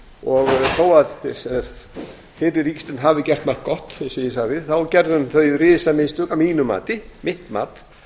og þó að fyrri ríkisstjórn hafi gert margt gott þá gerði hún þau risamistök að mínu mati það er mitt mat